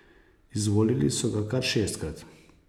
Izvolili so ga kar šestkrat.